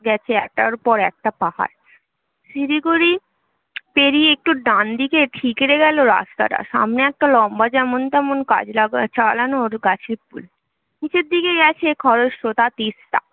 গেছে একটার পর একটা পাহাড় শিলিগুড়ি পেরিয়ে একটু ডান দিকে ঠিকরে গেল রাস্তাটা সামনেই একটা লম্বা যেমন তেমন কাজ লাগানো চালানো গাছের পুল নিচে দিকে গেছে খরস্রোতা তিস্তা